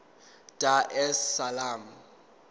dar es salaam